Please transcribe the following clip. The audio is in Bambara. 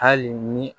Hali ni